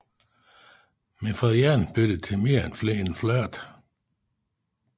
Men for den ene bliver det til mere end flirt